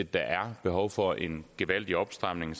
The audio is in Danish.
der er behov for en gevaldig opstramning